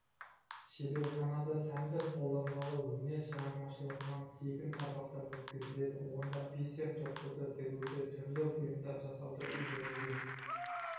шеберханада сәндік қолданбалы өнер шығармашылығынан тегін сабақтар өткізіледі онда бисер тоқуды тігуді түрлі бұйымдар жасауды үйренуге